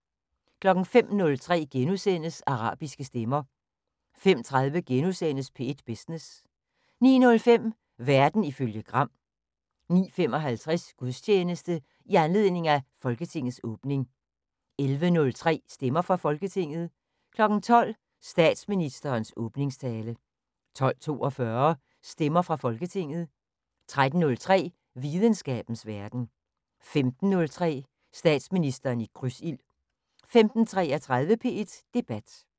05:03: Arabiske stemmer * 05:30: P1 Business * 09:05: Verden ifølge Gram 09:55: Gudstjeneste i anledning af Folketingets åbning 11:03: Stemmer fra Folketinget 12:00: Statsministerens åbningstale 12:42: Stemmer fra Folketinget 13:03: Videnskabens Verden 15:03: Statsministeren i krydsild 15:33: P1 Debat